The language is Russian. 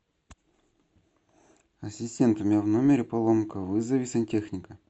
ассистент у меня в номере поломка вызови сантехника